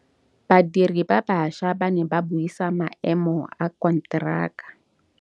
Badiri ba baša ba ne ba buisa maêmô a konteraka.